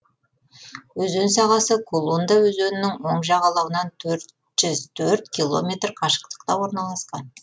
өзен сағасы кулунда өзенінің оң жағалауынан төрт жүз төрт километр қашықтықта орналасқан